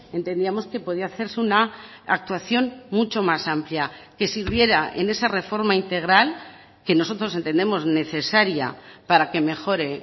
entendíamos que podía hacerse una actuación mucho más amplia que sirviera en esa reforma integral que nosotros entendemos necesaria para que mejore